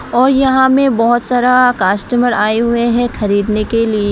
और यहां में बहोत सारा कस्टमर आये हुए हैं खरीदने के लिए।